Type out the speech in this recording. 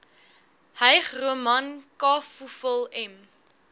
hygroman kafoefel m